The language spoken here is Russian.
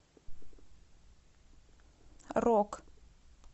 рок